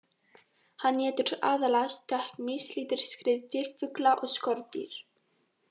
Hann étur aðallega stökkmýs, lítil skriðdýr, fugla og skordýr.